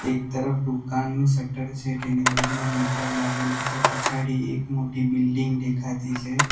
એક તરફ દુકાનનું શટર છે તેની બાજુમાં મીટર લાગેલુ છે પછાડી એક મોટી બિલ્ડીંગ દેખાતી છે.